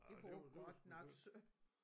Ja det var det var sgu synd